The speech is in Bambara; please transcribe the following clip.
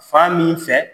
Fan min fɛ